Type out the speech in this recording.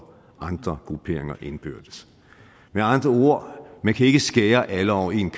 andre grupperinger indbyrdes med andre ord man kan ikke skære alle over en